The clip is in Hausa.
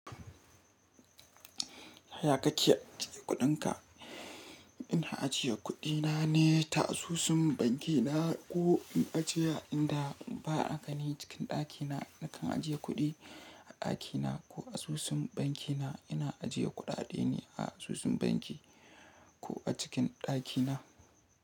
Ya kake ajiye kuɗinka? Ina ajiye kuɗina ne ta asusun banki na ko in ajiye a inda ba a gani cikin ɗakina. Nakan ajiye kuɗi a ɗakina ko asusun banki na. Ina ajiye kuɗaɗe ne a asusun banki ko a cikin ɗakina.